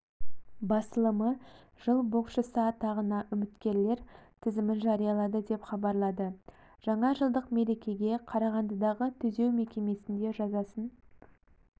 басылымы жыл боксшысы атағына үміткерлер тізімін жариялады деп хабарлады жаңа жылдық мерекеге қарағандыдағы түзеу мекемесінде жазасын